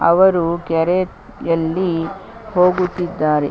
ಅವರು ಕೆರೆ ಯಲ್ಲಿ ಹೋಗುತ್ತಿದಾರೆ .